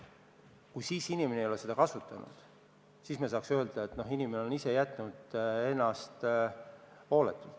Kui inimene ei ole seda kasutanud, siis me saaks öelda, et ta ise on hooletult käitunud.